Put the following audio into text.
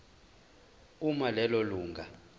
uma lelo lunga